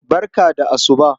Barka da asuba.